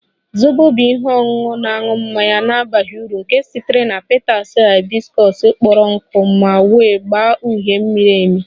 Zobo bụ ihe ọṅụṅụ na-aṅụ mmanya na-abaghị uru nke sitere na petals hibiscus kpọrọ nkụ ma nwee agba uhie miri emi